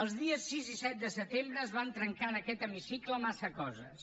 els dies sis i set de setembre es van trencar en aquest hemicicle massa coses